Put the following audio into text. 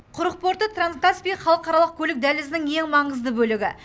құрық порты транскаспий халықаралық көлік дәлізінің ең маңызды бөлігі